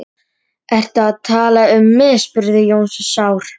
Sjóðið pastað eftir fyrirmælum á pakkanum.